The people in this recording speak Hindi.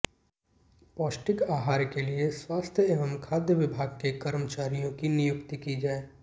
पौष्टिक आहार के लिए स्वास्थ्य व खाद्य विभाग के कर्मचारियों की नियुक्ति की जाए